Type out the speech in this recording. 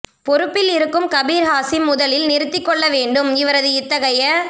பொறுப்பில் இருக்கும் கபிர் ஹாசிம் முதலில் நிறுத்திக் கொள்ள வேண்டும் இவரது இத்தகைய